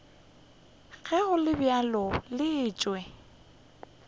ge go le bjalo letšwa